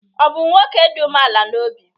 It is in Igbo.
Ọ̀ bụ nwoke dị umeala n’obi?